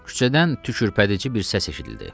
Küçədən tükürpədici bir səs eşidildi.